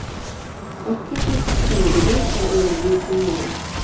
Ortga qaytish talabiga esa ular bo‘ysunmagan.